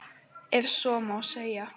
Ef svo má segja.